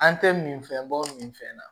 An tɛ min fɛn bɔ minfɛn na